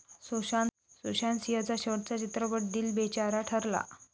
सुशांत सिंहचा शेवटचा चित्रपट दिल बेचारा ठरला.